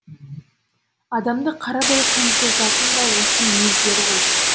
адамды қарадай қынжылтатын да осы мінездері ғой